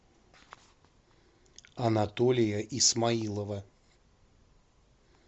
анатолия исмаилова